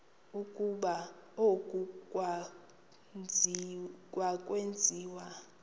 ukuba oku akwenziwa